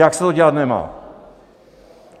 Jak se to dělat nemá.